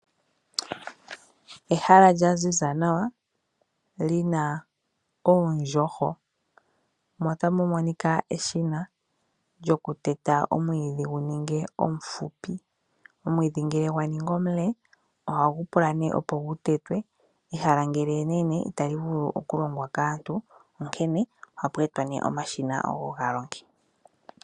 Ehala lya ziza nawa lyina oondjohwa mo otamu monika eshina lyoku nÌli teta omwiidhi gu ninge omufupi omwiidhi ngele gwa ningi omule ohapu ihagu vulu okutetwa onkee ohapu etwa nee omashina ogo geye ga longe.